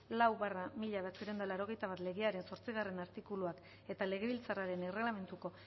lau barra mila bederatziehun eta laurogeita bat legearen zortzigarrena artikuluan eta legebiltzarraren erregelamenduko